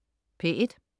P1: